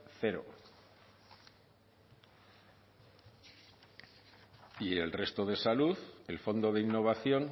cero y el resto de salud el fondo de innovación